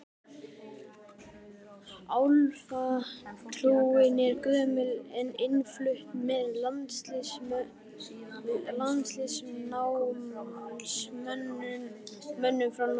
Álfatrúin er gömul og innflutt með landnámsmönnum frá Noregi.